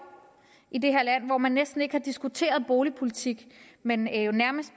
i det her land hvor man næsten ikke har diskuteret boligpolitik men jo nærmest